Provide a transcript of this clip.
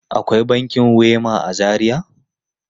Akwai bankin Wema a Zaria?